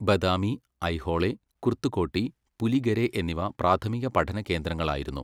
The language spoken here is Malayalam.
ബദാമി, ഐഹോളെ, കുർത്തുകോട്ടി, പുലിഗെരെ എന്നിവ പ്രാഥമിക പഠനകേന്ദ്രങ്ങളായിരുന്നു.